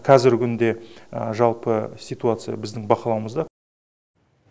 қазіргі күнде жалпы ситуация біздің бақылауымызда